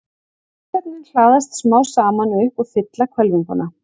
Gosefnin hlaðast smám saman upp og fylla hvelfinguna.